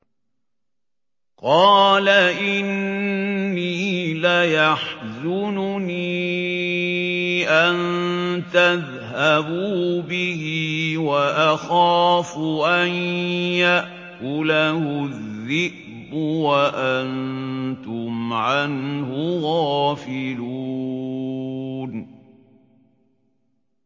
قَالَ إِنِّي لَيَحْزُنُنِي أَن تَذْهَبُوا بِهِ وَأَخَافُ أَن يَأْكُلَهُ الذِّئْبُ وَأَنتُمْ عَنْهُ غَافِلُونَ